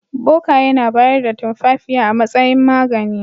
Bokaye na bayar da tumfafiya a matsayin magani.